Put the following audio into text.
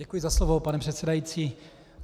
Děkuji za slovo, pane předsedající.